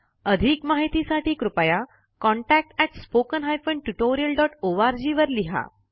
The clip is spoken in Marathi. अधिक माहितीसाठी कृपया contactspoken tutorialorg वर लिहा